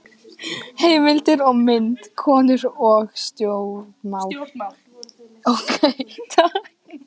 Heimildir og mynd: Konur og stjórnmál.